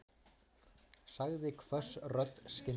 sagði hvöss rödd skyndilega.